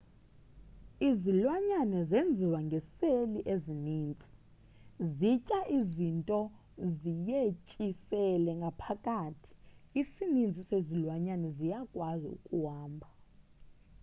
izilwanyane zenziwe ngeseli ezininzi zitya izinto ziyetyisele ngaphakathi isininzi sezilwanyane ziyakwazi ukuhamba